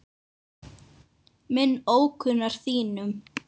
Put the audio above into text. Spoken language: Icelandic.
minn ókunnar þínum